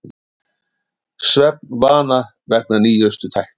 Svefnvana vegna nýjustu tækni